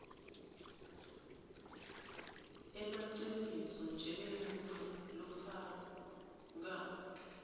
emaciniso njengemuntfu lofako